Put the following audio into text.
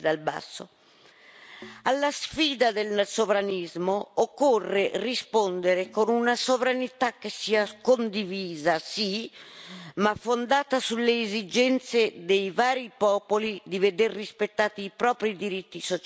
Alla sfida del sovranismo occorre rispondere con una sovranità che sia condivisa, sì, ma fondata sulle esigenze dei vari popoli di veder rispettati i propri diritti sociali e civili.